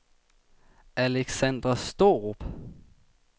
Aleksander Straarup